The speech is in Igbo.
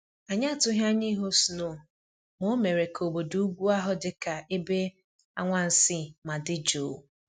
Anyị atụghị anya ịhụ snow ma o mere ka obodo ugwu ahụ dị ka ebe anwansị ma dị jụụ